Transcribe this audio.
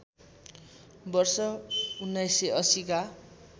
वर्ष १९८० का